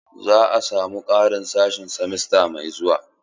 Za a samu ƙarin sashe simesta mai zuwa.